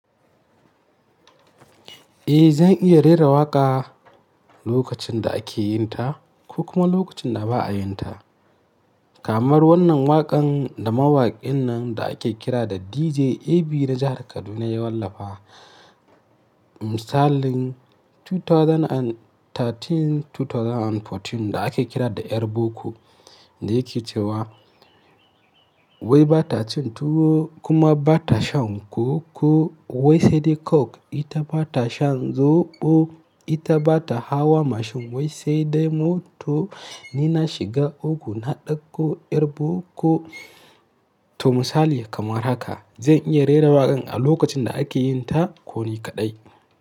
Eh, zan iya rera waƙa lokacin da ake yinta ko kuma lokacin da ba a yinta. Kamar wannan waƙan da mawaƙin nan da ake kira da DJ AB na jahar Kaduna ya wallafa misalin dubu biyu da sha uku, dubu biyu da sha huɗu da ake kira da ƴar boko da yake cewa wai bata cin tuwo kuma bata shan koko wai sai dai coke ita bata shan zoɓo ita bata hawa mashin wai sai dai mota ni na shiga uku na ɗauko ƴar boko. To misali kamar haka zan iya rera waƙan a lokacin da ake yinta ko ni kaɗai.